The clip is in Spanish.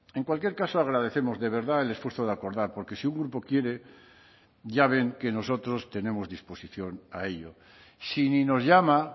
en cualquier caso agradecemos de verdad el esfuerzo de acordar porque si un grupo quiere ya ven que nosotros tenemos disposición a ello si ni nos llama